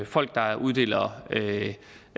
folk der uddeler